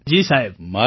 મંજૂરજી જી સાહેબ